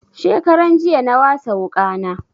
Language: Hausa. Shekaran jiya na wasa wuƙa na